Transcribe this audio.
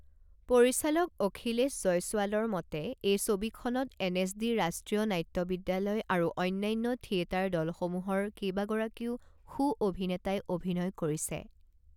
পৰিচালক অখিলেশ জয়ছোৱালৰ মতে, এই ছবিখনত এনএচডি ৰাষ্ট্ৰীয় নাট্য বিদ্যালয় আৰু অন্যান্য থিয়েটাৰ দলসমূহৰ কেইবাগৰাকীও সু অভিনেতাই অভিনয় কৰিছে।